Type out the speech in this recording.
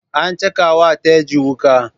An caka wa Teju wuka.